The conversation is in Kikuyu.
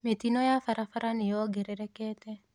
Mĩtino ya barabara nĩyongerekete.